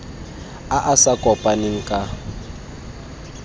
a a sa kopaneng ka